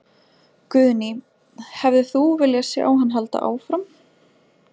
Guðný: Hefðir þú vilja sjá hann halda áfram?